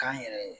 K'an yɛrɛ ye